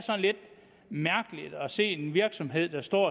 lidt mærkeligt at se en virksomhed der står